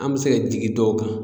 An bɛ se ka jigin dɔw kan